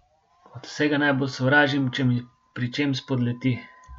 Od vsega najbolj sovražim, če mi pri čem spodleti.